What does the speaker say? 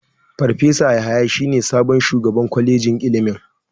Farfesa Yahaya shine sabon shugaban kwalejin ilimin.